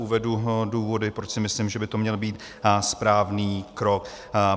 Uvedu důvody, proč si myslím, že by to měl být správný krok.